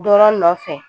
Dɔ nɔfɛ